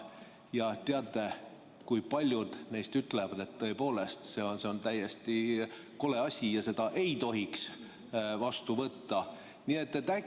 Ja teate, kui paljud neist ütlevad, et tõepoolest see on täiesti kole asi ja seda ei tohiks vastu võtta!